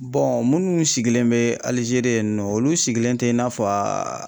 minnu sigilen bɛ ALIZERI yennɔ olu sigilen tɛ i n'a fɔ a.